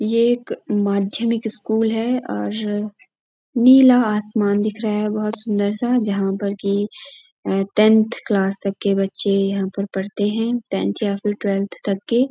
ये एक माध्यमिक स्कूल है और नीला आसमान दिख रहा है बहोत सुन्दर सा जहाँ पर कि अ-टेन्थ क्लास तक के बच्चे यहाँ पर पढ़ते हैं टेन्थ या फिर तवेल्थ तक के।